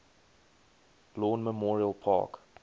lawn memorial park